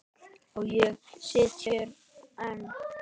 Og ég sit hér enn.